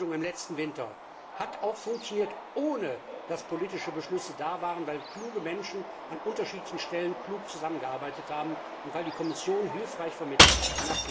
Manche Lösung im letzten Winter hat auch funktioniert, ohne dass politische Beschlüsse da waren, weil kluge Menschen an unterschiedlichen Stellen klug zusammengearbeitet haben und weil die Kommission hilfreich vermittelt hat.